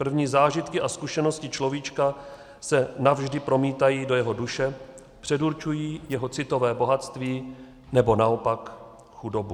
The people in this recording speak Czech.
První zážitky a zkušenosti človíčka se navždy promítají do jeho duše, předurčují jeho citové bohatství, nebo naopak chudobu.